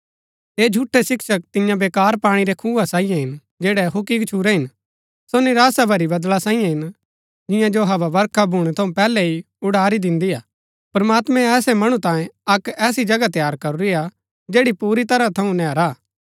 ऐह झूठै शिक्षक तिन्या वेकार पाणी रै खुआ सांईये हिन जैड़ै हुक्की गच्छुरै हिन सो निराशा भरी बदळा सांईये हिन जिन्या जो हवा बरखा भूणै थऊँ पैहलै ही उड़ारी दिन्दी हा प्रमात्मैं ऐसै मणु तांये अक्क ऐसी जगह तैयार करूरी हा जैड़ी पुरी तरह थऊँ नैहरा हा